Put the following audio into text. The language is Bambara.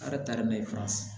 A yɛrɛ tari mɛ faransi